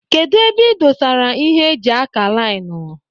Kedụ ebe ị dosara ịhe eji ákà laịnu.